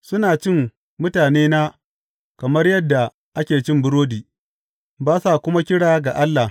Suna cin mutanena kamar yadda ake cin burodi, ba sa kuma kira ga Allah.